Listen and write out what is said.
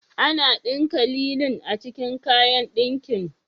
Ana ɗinka lilin a cikin kayan ɗinkin.